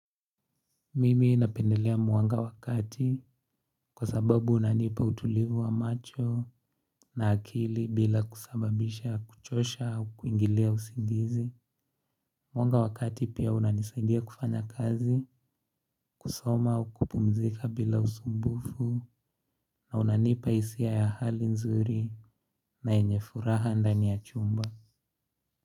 Mimi napendelea mwanga wa kati kwa sababu unanipa utulivu wa macho na akili bila kusababisha kuchosha au kuingilia usingizi. Mwanga wa kati pia unanisaidia kufanya kazi kusoma au kupumzika bila usumbufu na unanipa hisia ya hali nzuri na yenye furaha ndani ya chumba.